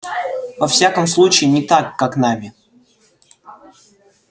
во всяком случае не так как нами